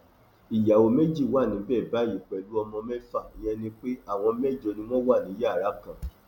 ìyàwó méjì wà níbẹ báyìí pẹlú ọmọ mẹfà ìyẹn ni pé àwọn mẹjọ ni wọn wà ní yàrá kan